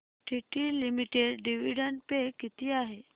TT limited dividend pay किती आहे